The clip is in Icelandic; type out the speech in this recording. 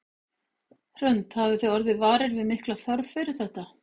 Hrund: Hafið þið orðið varir við mikla þörf fyrir þetta?